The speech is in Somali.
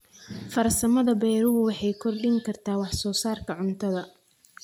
Farsamada beeruhu waxay kordhin kartaa wax soo saarka cuntada.